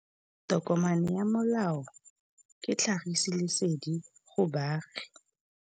Tokomane ya molao ke tlhagisi lesedi go baagi.